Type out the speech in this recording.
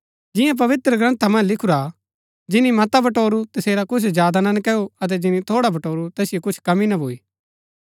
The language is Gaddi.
जियां पवित्रग्रन्था मन्ज लिखुरा हा जिनी मता बटोरू तसेरा कुछ ज्यादा ना नकैऊ अतै जिनी थोड़ा बटोरू तैसिओ कुछ कमी ना भूई